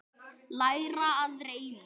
Læra að reima